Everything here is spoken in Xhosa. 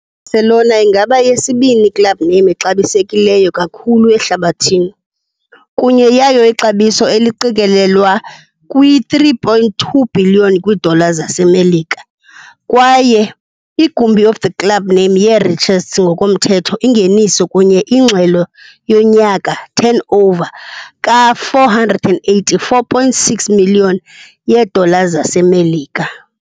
Barcelona ingaba yesibini club name exabisekileyo kakhulu ehlabathini, kunye yayo ixabiso eliqikelelwa kwi-3.2 bhiliyoni kwiidollar zaseMelika, kwaye igumbi of the club name ye-richest ngokomthetho ingeniso, kunye ingxelo yonyaka turnover ka-484.6 million yeedollars zaseMelika.